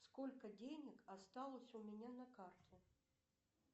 сколько денег осталось у меня на карте